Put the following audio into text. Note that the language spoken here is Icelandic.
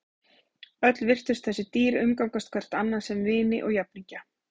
Öll virtust þessi dýr umgangast hvert annað sem vini og jafningja.